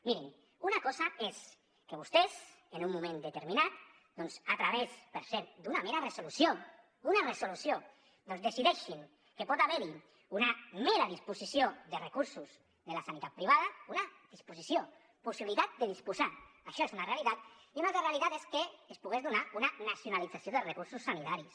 mirin una cosa és que vostès en un moment determinat doncs a través per cert d’una mera resolució una resolució doncs decideixin que pot haver hi una mera disposició de recursos de la sanitat privada una disposició possibilitat de disposar això és una realitat i una altra realitat és que es pogués donar una nacionalització dels recursos sanitaris